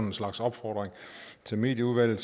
en slags opfordring til medieudvalget